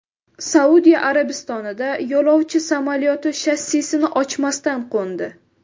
Saudiya Arabistonida yo‘lovchi samolyoti shassisini ochmasdan qo‘ndi.